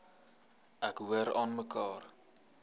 ek hoor aanmekaar